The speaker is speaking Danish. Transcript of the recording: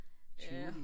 Tivoli